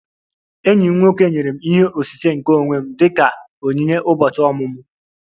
Enyi m nwoke nyere m ihe osise nke onwe m dị ka onyinye ụbọchị ọmụmụ